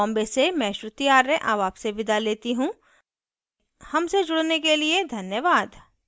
I I T Bombay से मैं श्रुति आर्य अब आपसे विदा लेती हूँ हमसे जुड़ने धन्यवाद